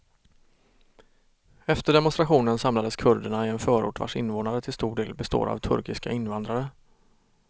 Efter demonstrationen samlades kurderna i en förort vars invånare till stor del består av turkiska invandrare.